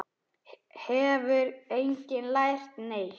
Hefur enginn lært neitt?